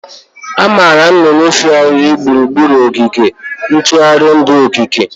Amaara nnụnụ ifehari gburugburu ogige ntụrụndụ okike.